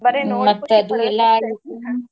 ಬರಿ ನೋಡಾಕು .